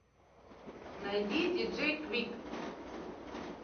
найди диджей квик